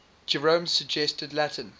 jerome's suggested latin